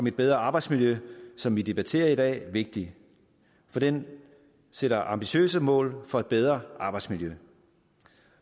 et bedre arbejdsmiljø som vi debatterer i dag vigtig for den sætter ambitiøse mål for et bedre arbejdsmiljø